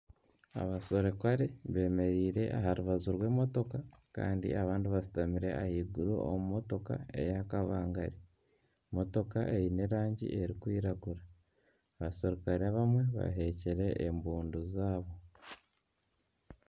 Abaserukare bemereire aha rubaju rw'emotoka kandi abandi bashutamire ahaiguru omu motoka eya kabangari. Motoka eine erangi erikwiragura, abaserukare abamwe baheekire embundu zaabo.